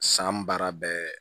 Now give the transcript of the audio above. San baara bɛɛ